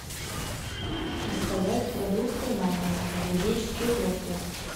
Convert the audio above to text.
заказать продукты на дом экзотические фрукты